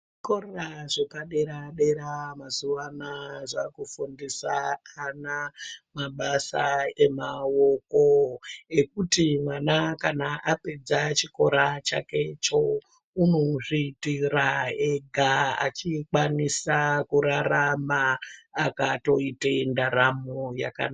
Zvikora zvepadera dera mazuwanaya zvakufundisa ana mabasa emawoko ekuti mwana kana apedza chikora chake icho unozviitira ega achikwanisa kurarama akatoite ndaramo yaka.